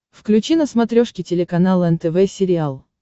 включи на смотрешке телеканал нтв сериал